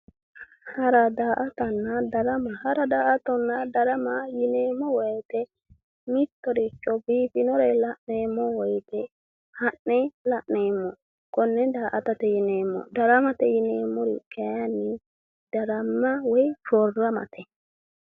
Hara, daa"attanna darama, hara, daa"attanna darama yinneemmo woyte mittoricho biifinore la'ne woyte ha'ne la'neemmo kone daa"attate yinneemmo, daramate yinneemmori kayinni darama woyi shoramate